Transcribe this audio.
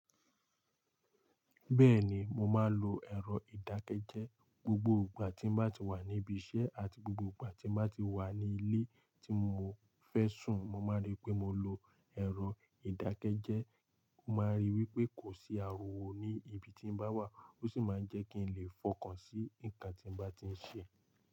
Bẹ́ẹ̀ni, mo máa ń lo ẹ̀rọ ìdákẹ́jẹ́. Gbogbo ìgbà tí n bá ti wà níbi iṣẹ́ àti gbogbo ìgbà tí n bá ti wà nílé tí mo fẹ́ sùn, mo máa rí pé mo lo ẹ̀rọ ìdákẹ́jẹ́. Ó máa ń rí wípé kò sí ariwo ní ibi tí mo bá wà ó sì máa ń jẹ́ kí n lè fọkàn sí ǹkan tí mo bá ti ń ṣe.